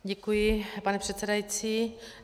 Děkuji, pane předsedající.